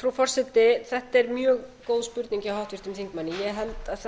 frú forseti þetta er mjög góð spurning hjá háttvirtum þingmanni ég held að